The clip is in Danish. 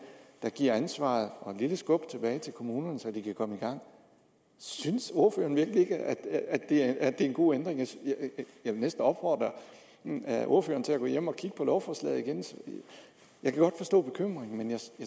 der giver ansvaret og et lille skub tilbage til kommunerne så de kan komme i gang synes ordføreren virkelig ikke at det er en god ændring jeg vil næsten opfordre ordføreren til at gå hjem og kigge på lovforslaget igen jeg kan godt forstå bekymringen men jeg